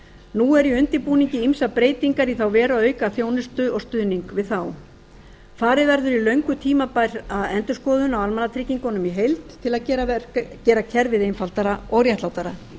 nú eru í undirbúningi ýmsar breytingar í þá veru að auka þjónustu og stuðning við þá farið verður í löngu tímabæra endurskoðun á almannatryggingunum í heild til að gera kerfið einfaldara og réttlátara